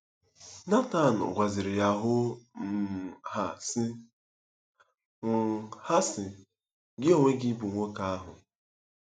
Netan gwaziri ya hoo um haa, sị: um haa, sị: “Gị onwe gị bụ nwoke ahụ!”